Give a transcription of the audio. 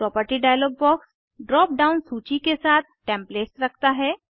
property dialog box drop down सूची के साथ टेम्पलेट्स रखता है